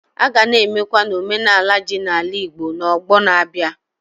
A ga na-emekwa n'omenala ji na ala Igbo n'ọgbọ na-abịa.